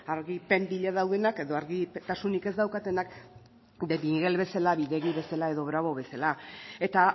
argipen bila daudenak edo argitasunik ez daukatenak de miguel bezala bidegi bezala edo bravo bezala eta